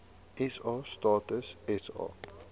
sa stats sa